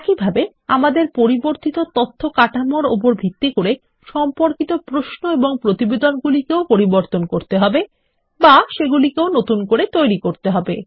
একইভাবে আমাদের পরিবর্তিত তথ্য কাঠামোর উপর ভিত্তি করে সম্পর্কিত প্রশ্ন এবং প্রতিবেদনগুলিকেও পরিবর্তন করতে হবে বা সেগুলিকেও নতুন করে তৈরী করতে হবে